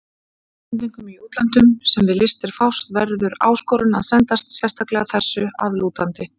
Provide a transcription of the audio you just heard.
Íslendingum í útlöndum, sem við listir fást, verður áskorun að sendast sérstaklega þessu að lútandi.